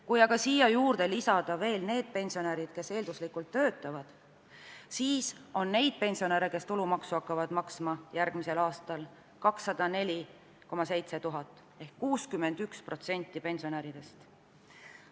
Kui aga siia juurde lisada veel need pensionärid, kes eelduslikult töötavad, siis on neid pensionäre, kes järgmisel aastal tulumaksu hakkavad maksma, 204 700 ehk 61% pensionäridest.